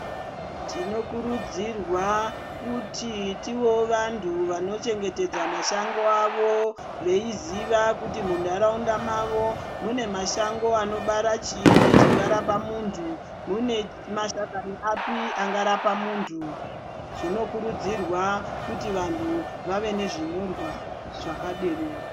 Tinokurudzirwa kuti tivewo vanthu vanochengetedza mashango avo veiziva kuti muntharaunda mavo, mune mashango anobara chiini chingarapa munthu, mune mashakani api angarapa munthu. Zvinokurudzirwa kuti vanthu, vave nezvinyorwa zvakadero.